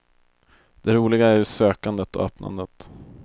Det roliga är ju sökandet och öppnandet.